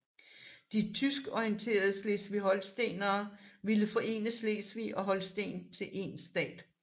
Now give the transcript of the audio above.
De tyskorienterede slesvigholstenere ville forene Slesvig og Holsten til én stat